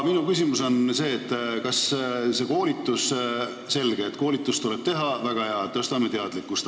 Selge, et koolitust tuleb teha, väga hea, tõstame teadlikkust.